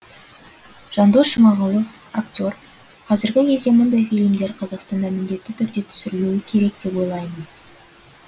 жандос жұмағұлов актер қазіргі кезде мұндай фильмдер қазақстанда міндетті түрде түсірілуі керек деп ойлаймын